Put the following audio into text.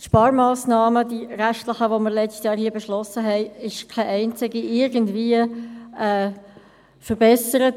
Von den restlichen Sparmassnahmen, die wir letztes Jahr hier beschlossen haben, wurde keine einzige irgendwie verbessert.